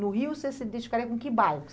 No Rio, você se identificaria com que bairro?